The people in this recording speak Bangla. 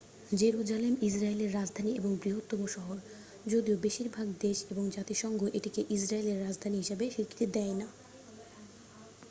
জেরুজালেম ইসরায়েলের রাজধানী এবং বৃহত্তম শহর যদিও বেশিরভাগ দেশ এবং জাতিসংঘ এটিকে ইসরায়েলের রাজধানী হিসাবে স্বীকৃতি দেয় না